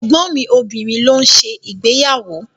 Ẹ̀gbọ́n mi obìnrin ló ń ṣe ìgbéyàwó.